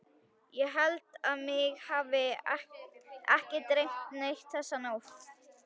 Ég held að mig hafi ekki dreymt neitt þessa nótt.